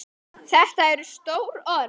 Þetta eru stór orð.